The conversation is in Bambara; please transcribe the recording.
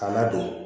K'a ladon